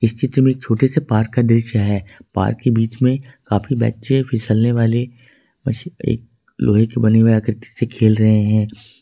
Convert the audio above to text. इस चित्र में एक छोटे से पार्क का दृश्य है पार्क के बीच में काफी बच्चे फिसलने वाले लोहे की बनी हुई आकृति से खेल रहे हैं।